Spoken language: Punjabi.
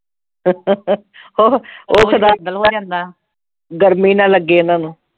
ਓ ਓਹ ਹੋ ਜਾਂਦਾ ਗਰਮੀ ਨਾ ਲੱਗੇ ਇਨ੍ਹਾਂ ਨੂੰ